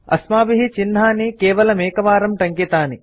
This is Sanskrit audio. अस्माभिः चिह्नानि केवलमेकवारं टङ्कितानि